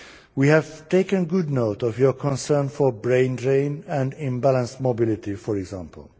We have taken good note of your concern about a brain drain and imbalanced mobility, for example.